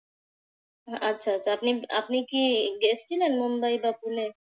আচ্ছা, তা আপনি আপনি কি গিয়েছিলেন মুম্বাই বা পুনে?